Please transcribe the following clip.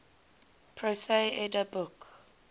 prose edda book